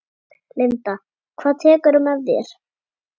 Linda: Hvað tekurðu með þér?